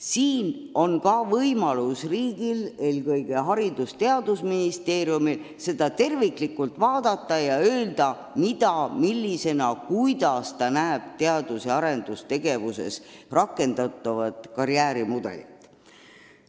Siin on võimalus ka riigil, eelkõige Haridus- ja Teadusministeeriumil tervikpilti vaadata ning öelda, millisena ta näeb teadus- ja arendustegevuses rakendatavat karjäärimudelit.